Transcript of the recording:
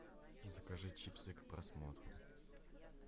закажи чипсы к просмотру